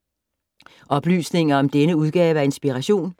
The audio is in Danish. Oplysninger om denne udgave af Inspiration